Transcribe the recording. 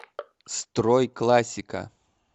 стройклассика